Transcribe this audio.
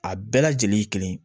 A bɛɛ lajɛlen ye kelen ye